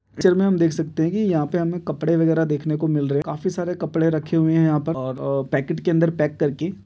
Picture में हम देख सकते हैं कि यहाँ हमें कपड़े वगैरा देखने को मिल रहे हैं काफी सारा कपड़े रखे हुए हैंयहाँ पर और पैकेट के अंदर पैक करके ।